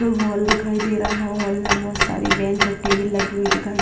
दो हॉल दिखाई दे रहा हैं हॉल में बहुत सारी बेंच और टेबल लगी हुई दिखाई --